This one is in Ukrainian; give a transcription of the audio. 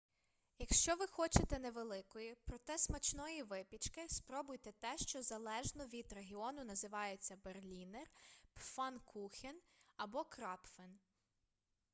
якщо ви хочете невеликої проте смачної випічки спробуйте те що залежно від регіону називається berliner pfannkuchen або krapfen